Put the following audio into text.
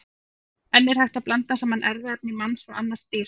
En er hægt að blanda saman erfðaefni manns og annars dýrs?